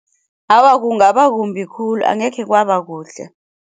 Awa kungaba kumbi khulu angekhe kwaba kuhle.